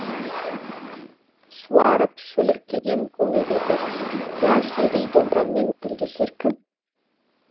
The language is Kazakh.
суарып шөліркеген көңілдерді дәл сендей домбырамен тілдесер кім